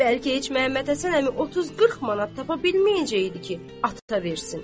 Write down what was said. Bəlkə heç Məhəmməd Həsən əmi 30-40 manat tapa bilməyəcəkdi ki, ata versin.